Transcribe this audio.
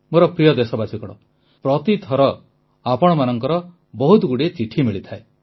ମୋର ପ୍ରିୟ ଦେଶବାସୀଗଣ ପ୍ରତି ଥର ଆପଣମାନଙ୍କର ବହୁତଗୁଡ଼ିଏ ଚିଠି ମିଳିଥାଏ